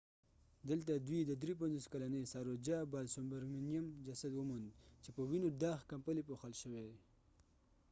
دلته دوی د 53 کلنې ساروجا بالسوبرمینیم جسد وموند چې په وینو داغ کمپلې پوښل شوي